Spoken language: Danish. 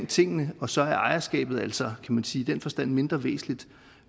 tingene og så er ejerskabet altså i den forstand mindre væsentligt